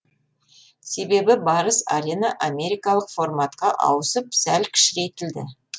себебі барыс арена америкалық форматқа ауысып сәл кішірейтілді